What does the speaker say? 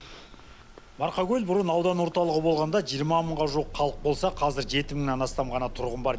марқакөл бұрын аудан орталығы болғанда жиырма мыңға жуық халық болса қазір жеті мыңнан астам ғана тұрғын бар